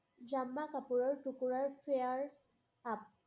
জাম্মা কাপোৰৰ টুকুৰাৰ fair up